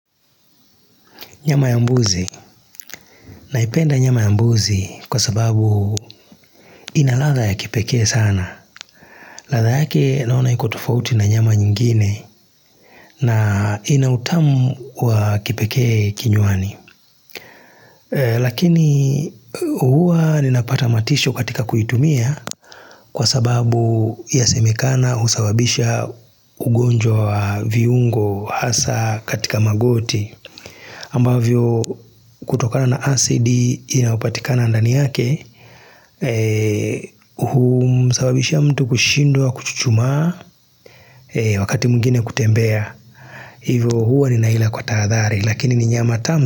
Nyama ya mbuzi, naipenda nyama ya mbuzi kwa sababu ina ladha ya kipekee sana ladha yake naona iko tofauti na nyama nyingine na ina utamu wa kipekee kinywani Lakini huwa ninapata matisho katika kuitumia kwa sababu yasemekana husababisha ugonjwa wa viungo hasaa katika magoti ambavyo kutokana na acidi inayopatikana ndani yake humsababishia mtu kushindwa kuchuchumaa, wakati mwngine kutembea hivyo huwa ninaila kwa tahadhari lakini ni nyama tamu.